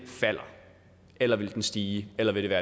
falder eller vil den stige eller vil